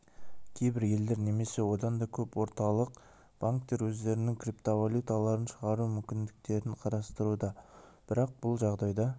кейбір елдер немесе одан да көп орталық банктер өздерінің криптовалюталарын шығару мүмкіндіктерін қарастыруда бірақ бұл жағдайда